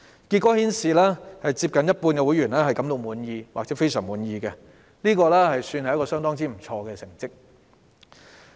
結果顯示，接近一半會員感到滿意或非常滿意，這是相當不錯的成績。